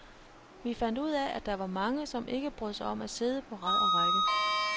Vi fandt ud af, at der var mange, som ikke brød sig om at sidde på rad og række.